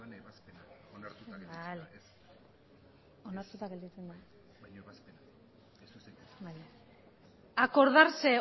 acordarse